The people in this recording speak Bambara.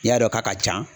I y'a dɔn k'a ka ca